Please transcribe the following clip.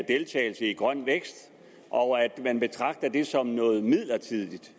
deltagelse i grøn vækst og at man betragter det som noget midlertidigt